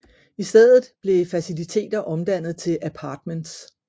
I stedet blev faciliter omdannet til apartments